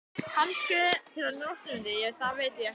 Kannski til að njósna um þig, ég veit það ekki.